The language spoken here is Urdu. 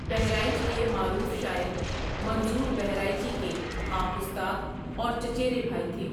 بہرائچ کے معروف شاعر منظور بہرائچی کے آپ استاد اور چچیرے بھائی تھے۔